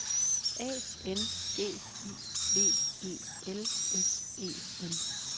A N G I V E L S E N